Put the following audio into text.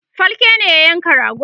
falke ne ya yanka ragon